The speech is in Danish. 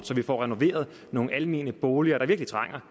så vi får renoveret nogle almene boliger der virkelig trænger